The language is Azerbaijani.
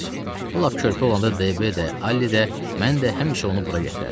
O lap körpə olanda Dibi də, Alli də, mən də həmişə onu bura gətirərdik.